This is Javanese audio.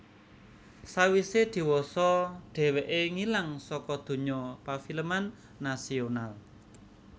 Sawisé diwasa dhèwèké ngilang saka donya pafilman nasional